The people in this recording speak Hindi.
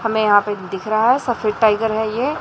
हमें यहां पे दिख रहा है सफेद टाइगर है ये।